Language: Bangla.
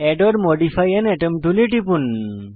add or modify an atom টুলে টিপুন